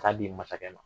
K'a di masakɛ ma